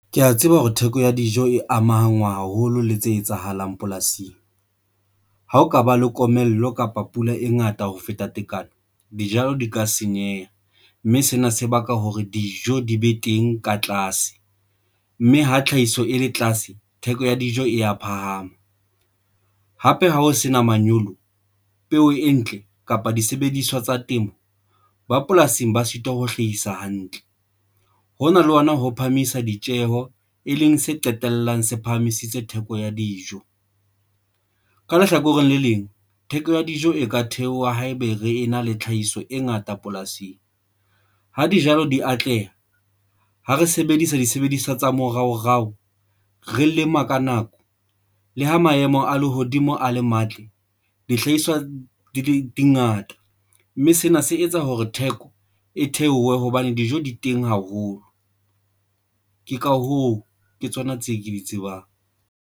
Ke ya tseba hore theko ya dijo e amahangwa haholo le tse etsahalang polasing. Ha o kaba le komello kapa pula e ngata ho feta tekano, dijalo di ka senyeha, mme sena se baka hore dijo di be teng ka tlase mme ho tlhahiso e le tlase. Theko ya dijo e ya phahama. Hape ha ho sena manyolo, peo e ntle kapa disebediswa tsa temo ba polasing ba sitwa ho hlahisa hantle ho na le ona ho phahamisa ditjeho, e leng se qetellang se phahamisitse theko ya dijo. Ka lehlakoreng le leng, theko ya dijo e ka theoha haebe re na le tlhahiso e ngata polasing. Ha dijalo di atleha, ha re sebedisa disebediswa tsa moraorao, re lema ka nako le ha maemo a lehodimo a le matle, dihlahiswa dingata, mme sena se etsa hore theko e theohe hobane dijo di teng haholo. Ke ka hoo, ke tsona tse ke di tsebang.